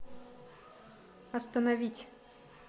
остановить